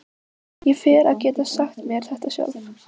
Ég fer að geta sagt mér þetta sjálf.